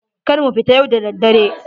Kar mu fita yau da dare.